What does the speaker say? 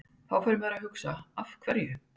Þá fer maður að hugsa Af hverju?